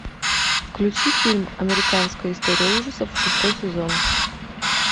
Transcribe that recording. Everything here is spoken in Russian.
включи фильм американская история ужасов шестой сезон